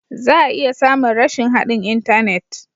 Za a iya samun rashin haɗin intanet.